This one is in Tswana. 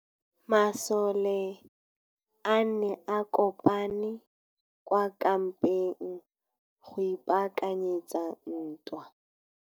Masole a ne a kopane kwa kampeng go ipaakanyetsa ntwa.